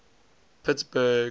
pittsburgh